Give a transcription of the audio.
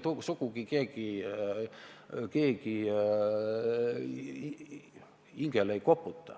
Kas teie hingele keegi ei koputa,